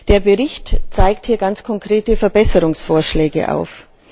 Der Bericht zeigt hier ganz konkrete Verbesserungsvorschläge auf.